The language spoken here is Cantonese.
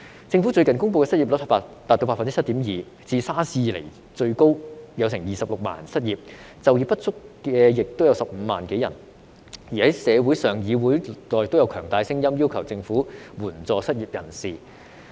政府最近公布的失業率達到 7.2%， 是自 SARS 以來最高的，有26萬人失業，就業不足有也15萬多人，而在社會上和議會內都有強大的聲音要求政府援助失業人士。